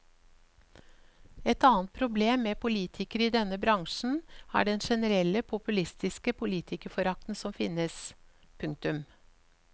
Et annet problem med politikere i denne bransjen er den generelle populistiske politikerforakten som finnes. punktum